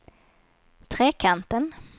Trekanten